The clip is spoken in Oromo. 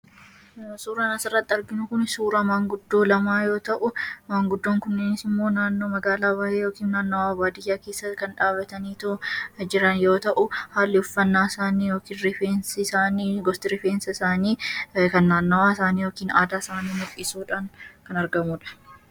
suuran asarratti arginu kun suuraa maanguddoo lamaa yoo ta'u maanguddoon kunnini immoo naanno magaalaa baa'ee yookiin naannawaa baadiyyaa keessa kan dhaabatanii too jiran yoo ta'u haalli uffannaa isaanii yookiin rifeensi isaanii gosti rifeensaa isaanii kan naannawaa isaanii yookiin aadaa isaanii muliisuudhaan kan argamuudha